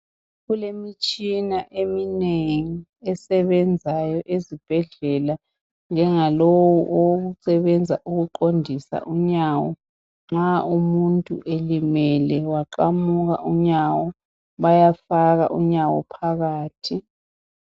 Kulemitshina eminengi esebenzayo ezibhendlela njengalowu owokusebenza ukuqondisa unyawo. Nxa umuntu elimele waqamuka unyawo, bayafaka unyawo phakathi.